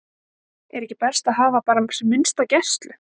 Er ekki best að hafa bara sem minnsta gæslu?